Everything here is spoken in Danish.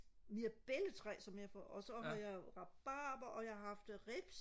mirabelletræ som jeg får og så har jeg jo rabarber og jeg har haft ribs